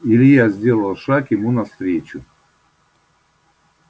илья сделал шаг ему навстречу